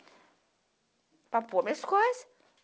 Para pôr minhas coisas.